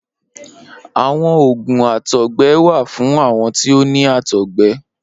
Awọn oògùn àtọ̀gbẹ wà fún àwọn tí ó ni àtọ̀gbẹ